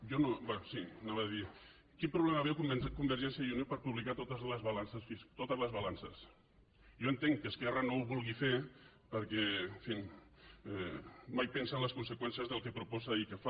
anava a dir quin problema veu convergència i unió per publicar totes les balances jo entenc que esquerra no ho vulgui fer perquè en fi mai pensa en les conseqüències del que proposa i què fa